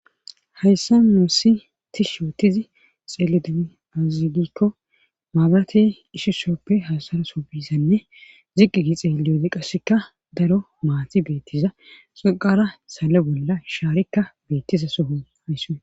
hayssa nussi tishshootizi xeeli dui azigikko maabrate ishi shooppe hasara so bisanne ziqqi gi xeeliyoode qasseka daro maati beettiza xaqara sale bolla shaarikka beettiza soho hayss